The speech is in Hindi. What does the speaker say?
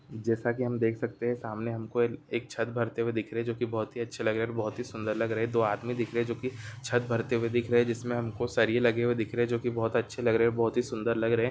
जैसा कि हम देख सकते हैं। सामने हमको एक छत भरते हुए दिख रहे जोकि बोहत ही अच्छे लग रहे और बोहत ही सुंदर लग रहे। दो आदमी दिख रहे जोकि छत भरते हुए दिख रहें। जिसमें हमको सरिये लगे हुए दिख रहे जोकि बोहत अच्छे लग रहे और बोहत ही सुंदर लग रहे।